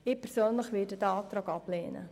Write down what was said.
Ich persönlich werde diesen Antrag ablehnen.